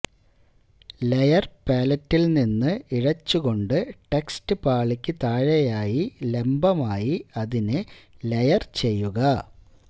layer പാലറ്റിൽ നിന്ന് ഇഴച്ചുകൊണ്ട് ടെക്സ്റ്റ് പാളിക്ക് താഴെയായി ലംബമായി അതിനെ ലേയർ ചെയ്യുക